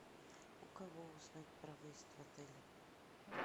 у кого узнать про выезд в отеле